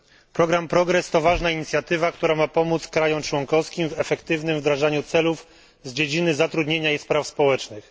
Program Progress to ważna inicjatywa, która ma pomóc państwom członkowskim w efektywnym wdrażaniu celów z dziedziny zatrudnienia i spraw społecznych.